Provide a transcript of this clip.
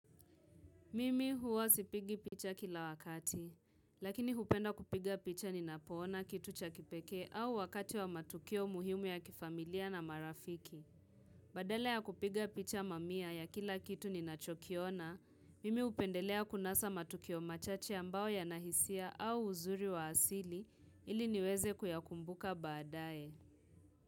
Mimi huwa sipigi picha kila wakati, lakini hupenda kupiga picha ninapoona kitu cha kipekee au wakati wa matukio muhimu ya kifamilia na marafiki. Badala ya kupiga picha mamia ya kila kitu ninachokiona, mimi hupendelea kunasa matukio machache ambao yanahisia au uzuri wa asili ili niweze kuyakumbuka baadae.